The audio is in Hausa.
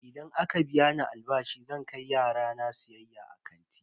Idan aka biya ni albashi zan kai yara na siyayya a kanti.